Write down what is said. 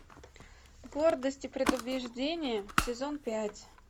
гордость и предубеждение сезон пять